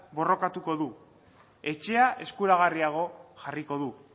borrokatuko du etxea eskuragarriago jarriko du